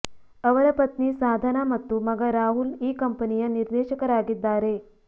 ಅವರ ಪತ್ನಿ ಸಾಧನಾ ಮತ್ತು ಮಗ ರಾಹುಲ್ ಈ ಕಂಪೆನಿಯ ನಿರ್ದೇಶಕರಾಗಿದ್ದಾರೆ